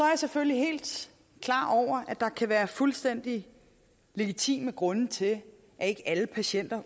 jeg selvfølgelig helt klar over at der kan være fuldstændig legitime grunde til at ikke alle patienter